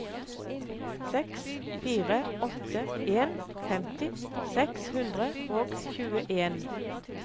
seks fire åtte en femti seks hundre og tjueen